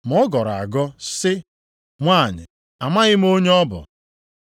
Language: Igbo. Ma ọ gọrọ agọ sị, “Nwanyị, amaghị m onye ọ bụ.”